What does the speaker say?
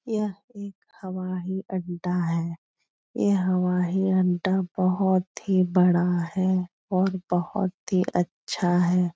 यह एक हवाई अड्डा है। ये हवाई अड्डा बोहोत ही बड़ा है और बोहोत ही अच्छा है।